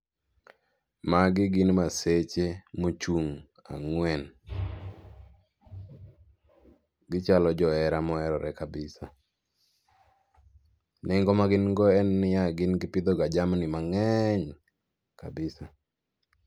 Magi gin maseche mochung' ang'wen, gichalo johera moherore kabisa. Nengo magin go en niya, gin gipidhoga jamini mang'eny kabisa.